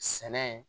Sɛnɛ